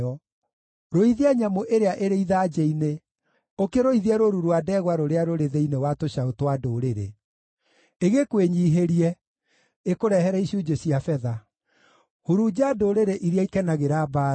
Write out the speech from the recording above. Rũithia nyamũ ĩrĩa ĩrĩ ithanjĩ-inĩ, ũkĩrũithie rũũru rwa ndegwa rũrĩa rũrĩ thĩinĩ wa tũcaũ twa ndũrĩrĩ. Ĩkwĩnyiihĩrie, na ĩkũrehere icunjĩ cia betha. Hurunja ndũrĩrĩ iria ikenagĩra mbaara.